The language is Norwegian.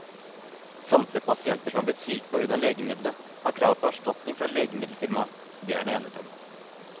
Samtlige pasienter som er blitt syke på grunn av legemiddelet, har krav på erstatning fra legemiddelfirmaet, det er det enighet om.